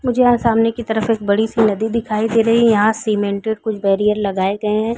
मुझे यहाँ सामने की तरफ एक बड़ी सी नदी दिखाई दे रही है यहाँ सीमेंटेड कुछ बैरियर लगाए गए है।